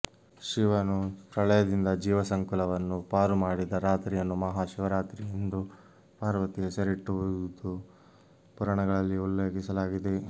ಶಿವನು ಪ್ರಳಯದಿಂದ ಜೀವಸಂಕುಲವನ್ನು ಪಾರು ಮಾಡಿದ ರಾತ್ರಿಯನ್ನು ಮಹಾ ಶಿವರಾತ್ರಿ ಎಂದು ಪಾರ್ವತಿ ಹೆಸರಿಟ್ಟಿರುವುದು ಪುರಾಣಗಳಲ್ಲಿ ಉಲ್ಲೇಖಿಸಲಾಗಿದೆ